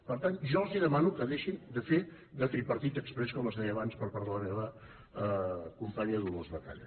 per tant jo els demano que deixin de fer de tripartit exprés com es deia abans per part de la meva companya dolors batalla